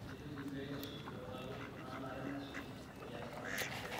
Etejoki pee kisuj wutarot naanare nesuji teasata esiai